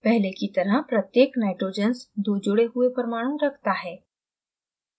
पहले की तरह प्रत्येक nitrogen दो जुड़े हुए परमाणु रखता है